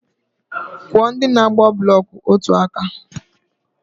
Kwụọ ndị na-agba blọk otu aka!